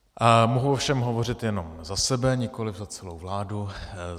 Mohu ovšem hovořit jenom za sebe, nikoliv za celou vládu.